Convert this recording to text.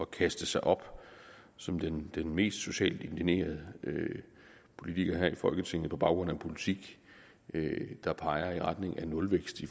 kaste sig op som den mest socialt indignerede politiker her i folketinget på baggrund af en politik der peger i retning af nulvækst i